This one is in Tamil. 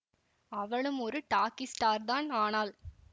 அவளும் ஒரு டாக்கி ஸ்டார்தான் ஆனால்